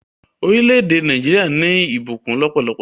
Orílẹ̀-èdè Naijiria ni ìbùkún lópólopó